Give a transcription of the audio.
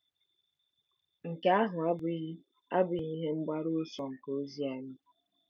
Nke ahụ abụghị abụghị ihe mgbaru ọsọ nke ozi anyị.